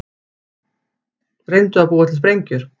Reyndu að búa til sprengjur